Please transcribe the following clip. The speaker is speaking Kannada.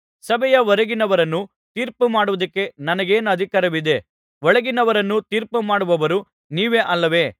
ಸಭೆಯ ಹೊರಗಿರುವವರನ್ನು ತೀರ್ಪುಮಾಡುವುದಕ್ಕೆ ನನಗೇನಧಿಕಾರವಿದೆ ಒಳಗಿನವರನ್ನು ತೀರ್ಪುಮಾಡುವವರು ನೀವೇ ಅಲ್ಲವೇ